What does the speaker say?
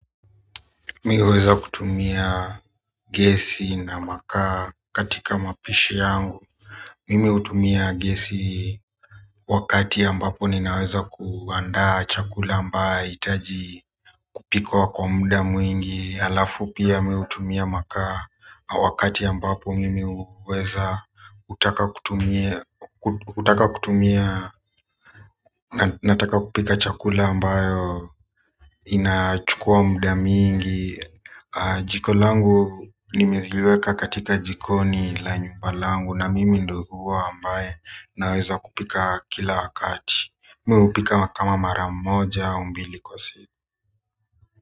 Mimi huweza kutumia gesi na makaa katika mapishi yangu mimi hutumia gesi wakati ambapo ninaweza kuandaa chakula amba hitaji kupikwa kwa muda mwingi alafu pia mimi hutumia makaa wakati ambapo mimi huweza kutaka kutumia hutaka kutumia nataka kupika chakula ambayo inachukua muda mingi jiko langu nimeziweka katika jikoni la nyumba langu na mimi ndo huwa ambaye naweza kupika kila wakati mimi hupika kama mara moja au mbili kwa siku.